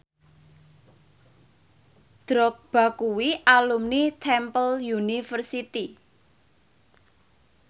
Drogba kuwi alumni Temple University